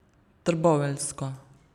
Trboveljsko.